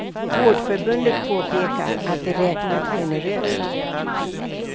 Vårdförbundet påpekar att de räknat generöst.